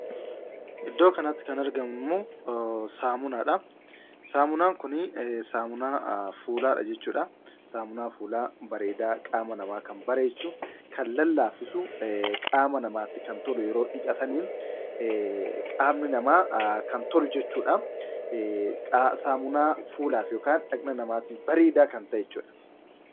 Iddoo kanatti kan argamummoo saamunaadha. saamunaan kun ,saamunaa fuulaadha jechuudha. saamuuna fuulaa bareedaa, qaama namaa kan bareechu, kan lallaaffisu, qaama namaatti kan tolu yeroo dhiqatanidha. qaama namaaf kan tolu jechuudha.